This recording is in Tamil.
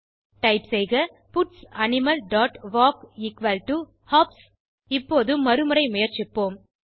டைப் செய்க puts animal dot walk equal to hops இப்போது மறுமுறை முயற்சிப்போம்